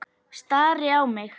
Stari á mig.